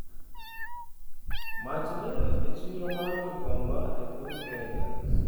Mach liel e chiro mar Gikomba, epiny Kenya